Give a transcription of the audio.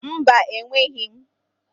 Mba, enweghị m